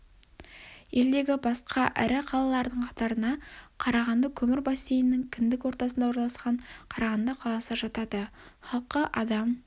елдегі басқа ірі қалалардың қатарына қарағанды көмір бассейнінің кіндік ортасына орналасқан қарағанды қаласы жатады халқы адам